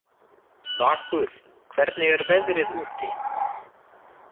Vakur, hvernig er veðrið úti?